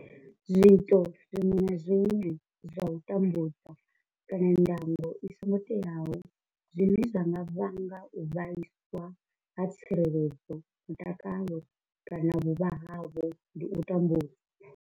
Zwiito zwiṅwe na zwiṅwe zwa u tambudza kana ndango i songo teaho zwine zwa nga vhanga u vhaiswa ha tsireledzo, mutakalo kana vhuvha havho ndi u tambudzwa.